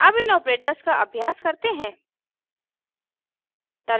अब इन ऑपरेटर्स का अभ्यास करते हैं